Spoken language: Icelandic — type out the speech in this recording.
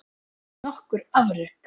Nokkur afrek